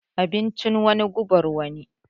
Abincin wani, guban wani.